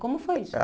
Como foi isso?